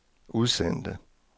udsendte